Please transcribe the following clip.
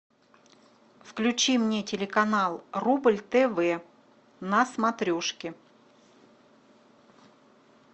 включи мне телеканал рубль тв на смотрешке